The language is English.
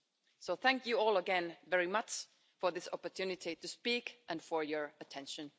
So thank you all again very much for this opportunity to speak and for your attention.